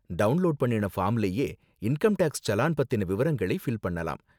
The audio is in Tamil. டவுன்லோடு பண்ணுன ஃபார்ம்லயே இன்கம் டேக்ஸ் சலான் பத்தின விவரங்களை ஃபில் பண்ணலாம்.